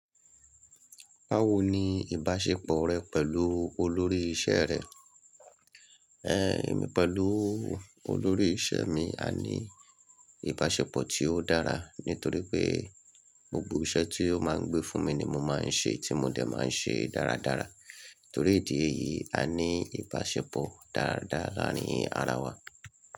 Báwo ni ìbáṣepọ̀ rẹ pẹ̀lú olórí iṣẹ́ rẹ? Èmi pẹ̀lú olórí iṣẹ́ mi a ní ìbáṣepọ̀ tí ó dára nítorí pé gbogbo iṣẹ́ tí ó máa ń gbé fún mi ni mo máa ń ṣe tí mo dẹ̀ máa ń ṣe dáradára. Torí ìdí èyí a ní ìbáṣepọ̀ dáadáa laarin ara wa.